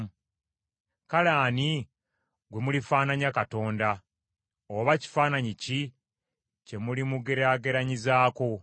Kale ani gwe mulifaananya Katonda? Oba kifaananyi ki kye mulimugeraageranyizaako?